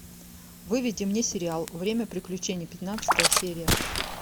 выведи мне сериал время приключений пятнадцатая серия